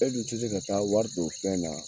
E dun tɛ se ka taa wari don fɛn na.